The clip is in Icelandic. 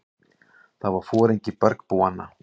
Það var foringi bergbúanna.